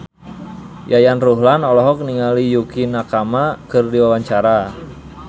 Yayan Ruhlan olohok ningali Yukie Nakama keur diwawancara